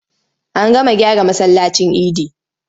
An gama gyara masallacin idi.